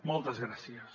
moltes gràcies